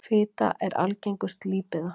Fita er algengust lípíða.